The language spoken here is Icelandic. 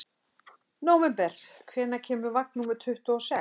Nóvember, hvenær kemur vagn númer tuttugu og sex?